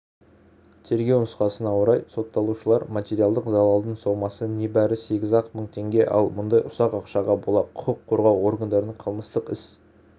тергеу нұсқасына орай сотталушылар материалдық залалдың сомасы небәрі сегіз-ақ мың теңге ал мұндай ұсақ ақшаға бола құқық қорғау органдары қылмыстық іс